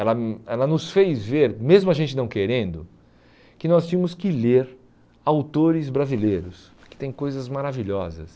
Ela hum ela nos fez ver, mesmo a gente não querendo, que nós tínhamos que ler autores brasileiros, que têm coisas maravilhosas.